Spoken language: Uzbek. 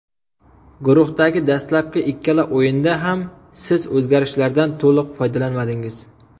Guruhdagi dastlabki ikkala o‘yinda ham siz o‘zgarishlardan to‘liq foydalanmadingiz.